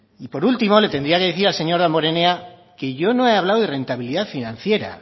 y por último le tendría que decir al señor damborenea que yo no he hablado de rentabilidad financiera